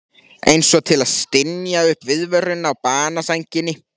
Einsog til að stynja upp viðvörun á banasænginni.